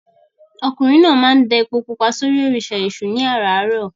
Ọkùnrin náà máa ń da epo pupa sórí òrìṣà Èṣù ní àràárọ̀.